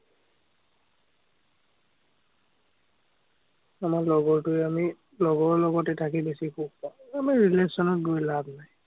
আমাৰ লগৰটোৱে আমি, লগৰ লগতে থাকি বেছি সুখ পাঁও। আমি relation ত গৈ লাভ নাই।